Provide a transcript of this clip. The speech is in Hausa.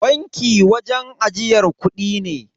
Banki wajen ajiyar kudi ne.